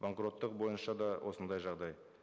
банкроттық бойынша да осындай жағдай